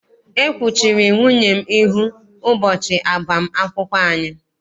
E kwuchiri nwunye m ihu ụbọchị agbam akwụkwọ anyị.